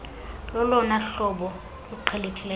lolona hlobo luqhelekileyo